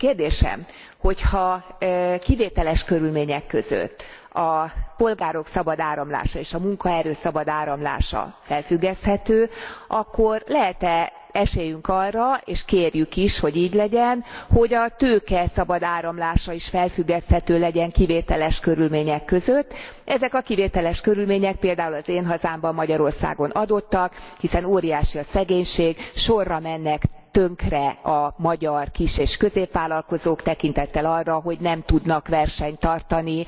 Kérdésem hogyha kivételes körülmények között a polgárok szabad áramlása és a munkaerő szabad áramlása felfüggeszthető, akkor lehet e esélyünk arra és kérjük is, hogy így legyen hogy a tőke szabad áramlása is felfüggeszthető legyen kivételes körülmények között? Ezek a kivételes körülmények például az én hazámban, Magyarországon adottak, hiszen óriási a szegénység, sorra mennek tönkre a magyar kis és középvállalkozók, tekintettel arra, hogy nem tudnak versenyt tartani